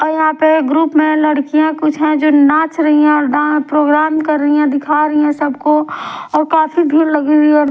और यहां पे ग्रुप में लड़कियां कुछ है जो नाच रही है और डां प्रोग्राम कर रही है दिखा रही है सबको और काफी भीड़ लगी हुई है।